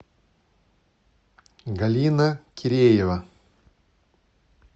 галина киреева